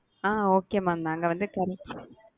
அ okay mam நாங்க வந்து,